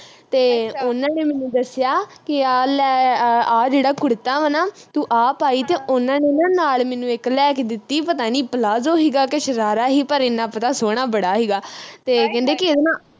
ਤੇ ਉਹਨਾਂ ਨੇ ਮੈਨੂੰ ਦੱਸਿਆ ਕਿ ਆਹ ਲੈ ਆਹ ਜਿਹੜਾ ਕੁੜਤਾ ਵਾ ਨਾ ਤੂੰ ਆਹ ਪਾਈ ਤੇ ਉਨ੍ਹਾਂ ਨੇ ਨਾ ਨਾਲ ਮੈਨੂੰ ਇਕ ਲਿਆ ਕਿ ਦਿੱਤੀ ਪਤਾ ਨੀ ਪਲਾਜੋ ਹੀਗਾ ਕਿ ਸ਼ਰਾਰਾ ਹੀ ਪਰ ਇੰਨਾ ਪਤਾ ਸੋਹਣਾ ਬੜਾ ਹੀਗਾ ਤੇ